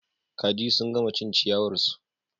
Kaji sun gama cin ciyawar su